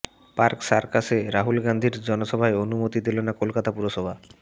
park সার্কাসে রাহুল গান্ধীর জনসভার অনুমতি দিল না কলকাতা পুরসভা